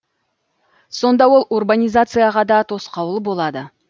сонда ол урбанизацияға да тосқауыл болады